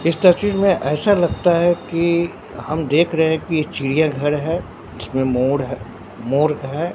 इस तस्वीर में ऐसा लगता है कि हम देख रहे हैं की चिड़ियाघर है इसमें मोर है मोर है।